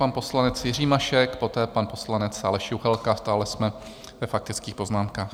Pan poslanec Jiří Mašek, poté pan poslanec Aleš Juchelka - stále jsme ve faktických poznámkách.